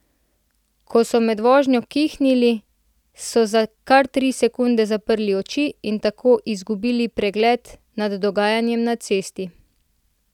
Ko so med vožnjo kihnili, so za kar tri sekunde zaprli oči in tako izgubili pregled nad dogajanjem na cesti.